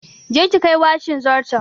Je ki kai washin zarton!